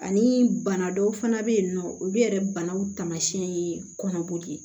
Ani bana dɔw fana bɛ yen nɔ olu yɛrɛ banaw taamasiyɛn ye kɔnɔboli ye